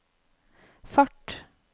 fart